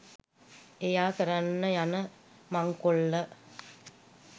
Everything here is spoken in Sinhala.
එයා කරන්න යන මංකොල්ල